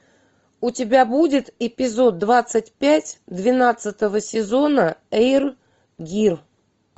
у тебя будет эпизод двадцать пять двенадцатого сезона эйр гир